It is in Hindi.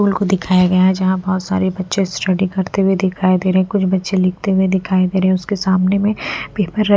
को दिखाया गया है जहाँ बहुत सारे बच्चे स्टडी करते हुए दिखाई दे रहे हैं कुछ बच्चे लिखते हुए दिखाई दे रहे हैं उसके सामने में --